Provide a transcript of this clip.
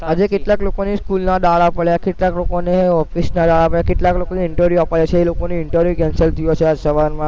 આજે કેટલાક લોકોને સ્કૂલના દહાડા પડ્યા, કેટલાક લોકોને ઓફિસ ના આવ્યા કેટલાક લોકોને interview આપવાનું હશે એ લોકોને interview cancel થયું હશે આજ સવારમાં